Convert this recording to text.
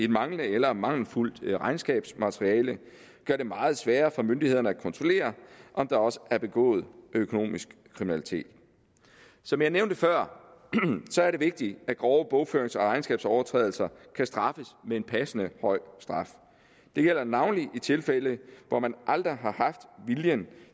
manglende eller mangelfuldt regnskabsmateriale gøre det meget sværere for myndighederne at kontrollere om der også er begået økonomisk kriminalitet som jeg nævnte før er det vigtigt at grove bogførings og regnskabsovertrædelser kan straffes med en passende høj straf det gælder navnlig i tilfælde hvor man aldrig har haft viljen